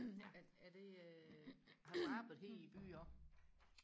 er er det øh har du arbejdet her i byen også